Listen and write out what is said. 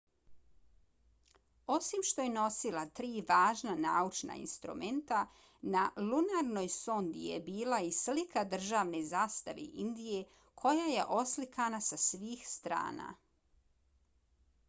osim što je nosila tri važna naučna instrumenta na lunarnoj sondi je bila i slika državne zastave indije koja je oslikana sa svih strana